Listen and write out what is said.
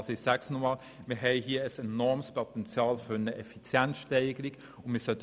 Das Potenzial für eine Effizienzsteigerung ist hier also enorm.